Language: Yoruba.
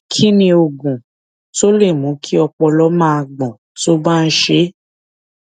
kí ni oògùn tó lè mú kí ọpọlọ máa gbọn tó bá ń ṣe é